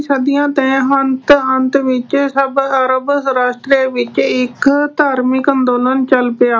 ਸਦੀਆਂ ਦੇ ਅਹ ਅੰਤ ਵਿੱਚ ਸਭ a Arab ਰਾਸ਼ਟਰਾਂ ਵਿੱਚ ਇੱਕ ਧਾਰਮਿਕ ਅੰਦੋਲਨ ਚੱਲ ਪਿਆ।